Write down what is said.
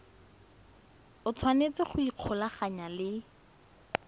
o tshwanetse go ikgolaganya le